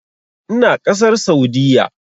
Ina ƙasar Saudiyya.